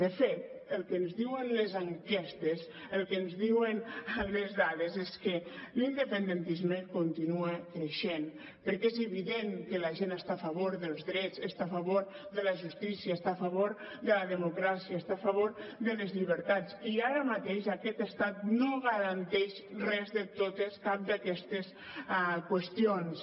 de fet el que ens diuen les enquestes el que ens diuen les dades és que l’independentisme continua creixent perquè és evident que la gent està a favor dels drets està a favor de la justícia està a favor de la democràcia està a favor de les llibertats i ara mateix aquest estat no garanteix cap d’aquestes qüestions